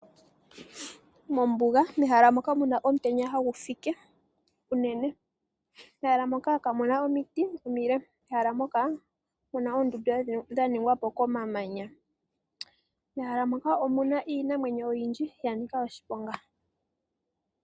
Mombuga mehala moka muna omutenya hagu fike uunene . Mehala moka kamuna omiti omile. Mehala moka omuna oondunda dha ningwa po komamanya mo omuna iinamwenyo oyindji yanika oshiponga.